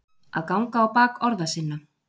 Að ganga á bak orða sinna